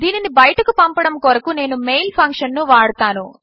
దీనిని బయటకు పంపడము కొరకు నేను మెయిల్ ఫంక్షన్ ను వాడతాను